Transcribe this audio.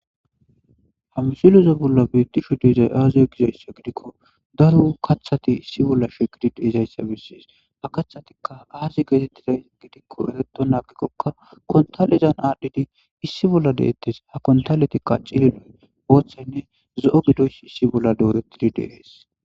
Ha missileza bolla betishe dizayssi aze gikko daro kaththati issi bolla shiqidi dizayssa beses . Ha kaththatika aze